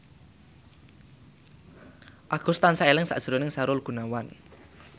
Agus tansah eling sakjroning Sahrul Gunawan